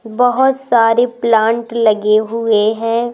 बहोत सारी प्लांट लगे हुए हैं।